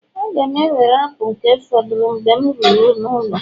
Aga m ewere apụl nke fọdụrụ Mgbe m ruru n'ụlọ